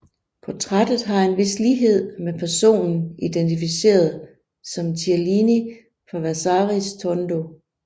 Portrættet har en vis lighed med personen identificeret som Cellini på Vasaris tondo